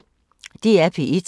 DR P1